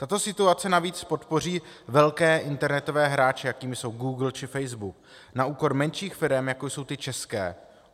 Tato situace navíc podpoří velké internetové hráče, jakými jsou Google či Facebook, na úkor menších firem, jako jsou ty české.